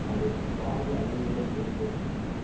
அது பாரிய அழிவுகளை ஏற்படுத்தும்